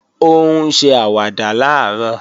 Ó ń ṣe àwàdà làárọ̀